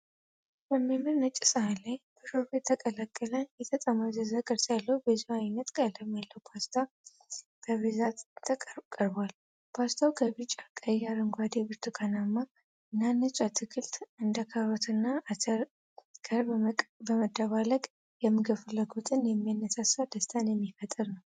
በሚያምር ነጭ ሳህን ላይ በሾርባ የተቀላቀለ፣ የተጠማዘዘ ቅርጽ ያለው ብዙ አይነት ቀለም ያለው ፓስታ በብዛት ቀርቧል። ፓስታው ከቢጫ፣ ቀይ፣ አረንጓዴ፣ ብርቱካናማ እና ነጭ አትክልቶች (እንደ ካሮትና አተር) ጋር በመደባለቅ የምግብ ፍላጎትን የሚያነሳሳ ደስታን የሚፈጥር ነው።